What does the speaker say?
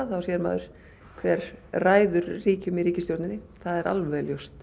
þá sér maður hver ræður ríkjum í ríkisstjórninni það er alveg ljóst